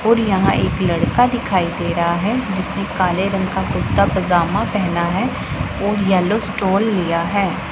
और यहां एक लड़का दिखाई दे रहा है जिसने काले रंग का कुर्ता पजामा पहना है और येलो स्टोल लिया है।